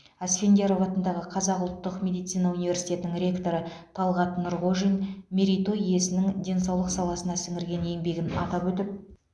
асфендияров атындағы қазақ ұлттық медицина университетінің ректоры талғат нұрғожин мерей той иесінің денсаулық саласына сіңірген еңбегін атап өтіп